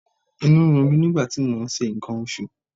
Inú ń run mí nígbà tí mò ń ṣe nǹkan oṣù.